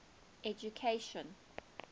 education